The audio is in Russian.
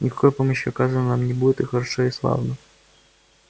никакой помощи оказано нам не будет и хорошо и славно